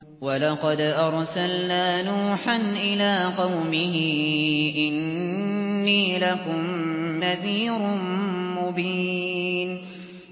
وَلَقَدْ أَرْسَلْنَا نُوحًا إِلَىٰ قَوْمِهِ إِنِّي لَكُمْ نَذِيرٌ مُّبِينٌ